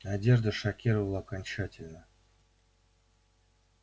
одежда шокировала окончательно